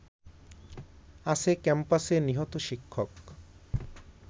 আছে ক্যাম্পাসে নিহত শিক্ষক